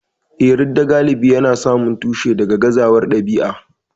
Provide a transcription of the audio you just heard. Eh, ridda galibi yana samun tushensa daga gazawar ɗabi'a.